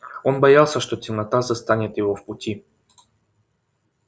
он боялся что темнота застанет его в пути